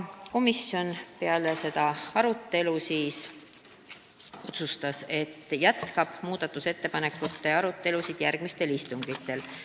Komisjon otsustas peale seda arutelu, et jätkab muudatusettepanekute arutelu järgmistel istungitel.